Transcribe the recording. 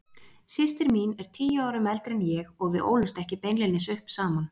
Systir mín er tíu árum eldri en ég og við ólumst ekki beinlínis upp saman.